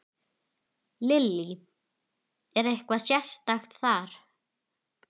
Lillý: Er eitthvað sérstakt þar?